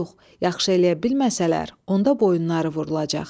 Yox, yaxşı eləyə bilməsələr, onda boyunları vurulacaq.